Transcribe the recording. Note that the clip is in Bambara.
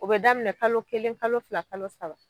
O be daminɛ kalo kelen kalo fila kalo saba.